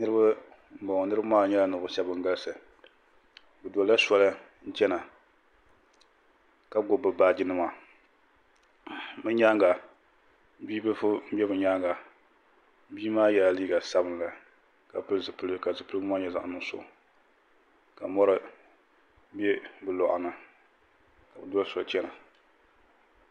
niriba n bɔŋɔ niriba maa nyɛla nɛvuɣigi shɛbi bɛn galisi bɛ dola soya chɛma la gbabi bi baaji nima be nyɛŋa bi biliƒɔ doliba bi maa yɛla liga sabilinli ka pɛli zupɛligu nyɛla zaɣinugisu ka mori bɛ be kuɣ' ni ka be doli soli chɛna